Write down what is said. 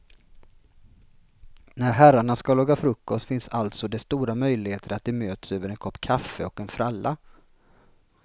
När herrarna ska laga frukost finns alltså det stora möjligheter att de möts över en kopp kaffe och en fralla.